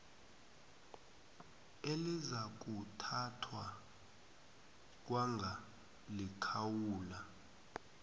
elizakuthathwa kwanga likhawula